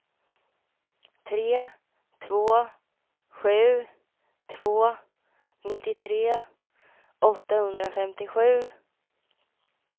tre två sju två nittiotre åttahundrafemtiosju